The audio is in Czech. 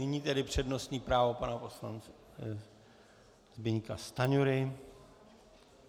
Nyní tedy přednostní právo pana poslance Zbyňka Stanjury.